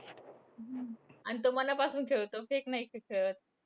आणि तो मनापासून खेळतो fake नाही खेळत.